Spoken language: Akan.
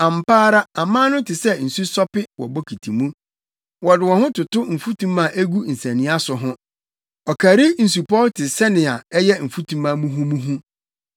Ampa ara aman no te sɛ nsu sope wɔ bokiti mu; wɔde wɔn toto mfutuma a egu nsania so ho; ɔkari nsupɔw te sɛnea ɛyɛ mfutuma muhumuhu.